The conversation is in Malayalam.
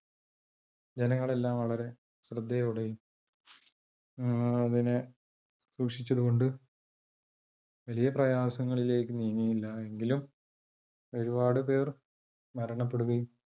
ജനങ്ങൾ എല്ലാം വളരെ ശ്രദ്ധയോടെയും അതിനെ സൂക്ഷിച്ചത് കൊണ്ട്, വലിയ പ്രയാസങ്ങളിലേക്ക് നീങ്ങിയില്ല. എങ്കിലും ഒരുപാട് പേർ മരണപ്പെടുകയും,